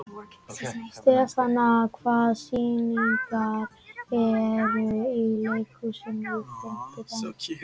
Stefana, hvaða sýningar eru í leikhúsinu á fimmtudaginn?